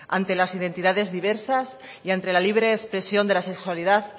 ante las identidades diversas y ante la libre expresión de la sexualidad